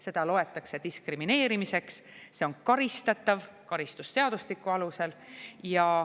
Seda loetakse diskrimineerimiseks, see on karistatav karistusseadustiku alusel.